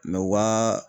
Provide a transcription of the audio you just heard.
Mɛ wa